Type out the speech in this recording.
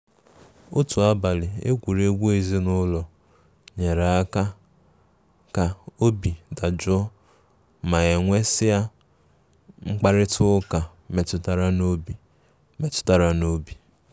Otu abali egwuregwu ezinụlọ nyere aka ka obi dajụọ ma e nwesia mkparịta ụka metụtara n'obi. metụtara n'obi.